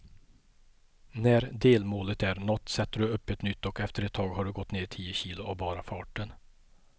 När delmålet är nått sätter du upp ett nytt och efter ett tag har du gått ner tio kilo av bara farten.